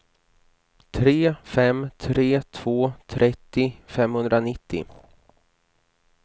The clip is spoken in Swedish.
tre fem tre två trettio femhundranittio